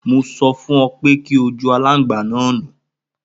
Mo sọ fún ọ pe kí ọ ju alangba ni nu.